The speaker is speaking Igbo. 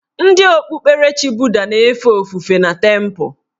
Ndị okpukperechi buda na-efe ofufe na tempụ